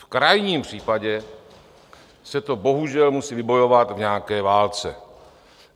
V krajním případě se to bohužel musí vybojovat v nějaké válce.